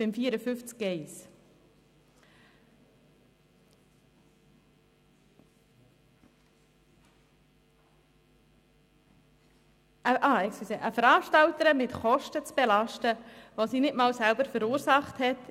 Artikel 54 Absatz 1: Es ist nicht in Ordnung, eine Veranstalterin mit Kosten zu belasten, die sie nicht selber verursacht hat.